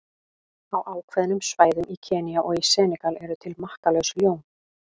Á ákveðnum svæðum í Kenía og í Senegal eru til makkalaus ljón.